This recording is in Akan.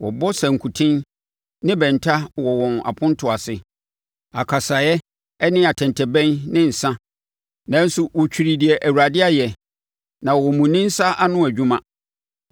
Wɔbɔ sankuten ne bɛnta wɔ wɔn apontoɔ ase, akasaeɛ, ne atɛntɛbɛn ne nsã, nanso wɔtwiri deɛ Awurade ayɛ, na wɔmmu ne nsa ano adwuma.